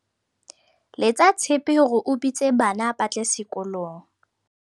letsa tshepe hore o bitse bana ba tle sekolong